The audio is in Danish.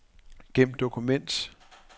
Gem dokument.